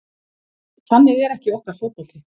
Þannig er ekki okkar fótbolti